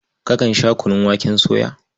Kakan sha kunun waken soya?